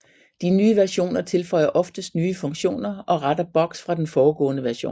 De nye versioner tilføjer oftest nye funktioner og retter bugs fra den foregående version